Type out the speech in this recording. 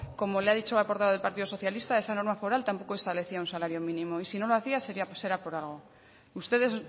como le ha dicho al portavoz del partido socialista esa norma foral tampoco establecía un salario mínimo y si no lo hacía sería por algo ustedes